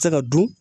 Se ka dun